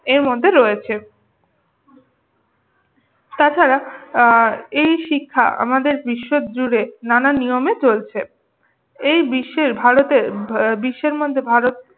এর মধ্যে রয়েছে। তাছাড়া আহ এই শিক্ষা আমাদের বিশ্বজুড়ে নানান নিয়মে চলছে। এই বিশ্বের ভারতের আহ বিশ্বের মধ্যে ভারত